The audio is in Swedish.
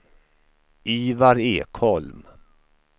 Ivar Ekholm